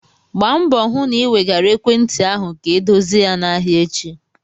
Gbaa mbọ hụ na ị wegara ekwentị ahụ ka edozie ya n'ahịa echi!